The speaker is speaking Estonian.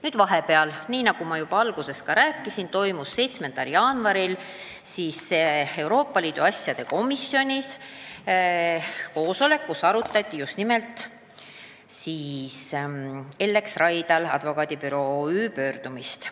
Nüüd, nagu ma juba ütlesin, 7. jaanuaril toimus Euroopa Liidu asjade komisjoni koosolek, kus arutati Ellex Raidla Advokaadibüroo OÜ pöördumist.